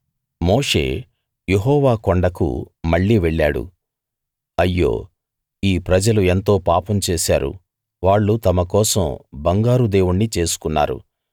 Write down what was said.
మోషే యెహోవా కొండకు మళ్ళీ వెళ్ళాడు అయ్యో ఈ ప్రజలు ఎంతో పాపం చేశారు వాళ్ళు తమ కోసం బంగారు దేవుణ్ణి చేసుకున్నారు